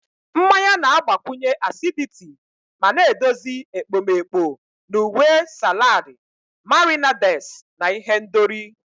Mmanya na-agbakwụnye acidity ma na-edozi ekpomeekpo na uwe salad, marinades, na ihendori.